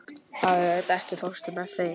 Berent, ekki fórstu með þeim?